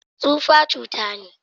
Tufa cuta ne.